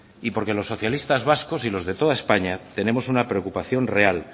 y porque los socialistas vascos y los de toda españa tenemos una preocupación real